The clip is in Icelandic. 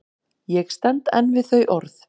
Ég stend enn við þau orð.